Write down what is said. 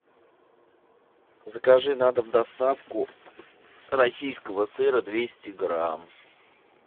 закажи на дом доставку российского сыра двести грамм